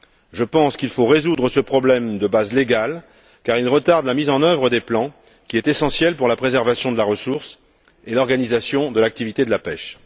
Je pense qu'il faut résoudre ce problème de base légale, car il retarde la mise en œuvre des plans, qui est essentielle à la préservation de la ressource et à l'organisation de l'activité de la pêche.